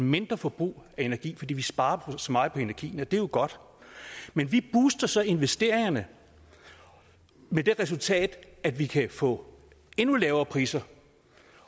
et mindre forbrug af energi fordi vi sparer så meget på energien og det er jo godt men vi booster så investeringerne med det resultat at vi kan få endnu lavere priser